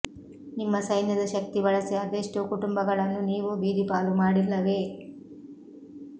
ನಿಮ್ಮ ಸೈನ್ಯದ ಶಕ್ತಿ ಬಳಸಿ ಅದೆಷ್ಟೋ ಕುಟುಂಬಗಳನ್ನು ನೀವು ಬೀದಿಪಾಲು ಮಾಡಿಲ್ಲವೇ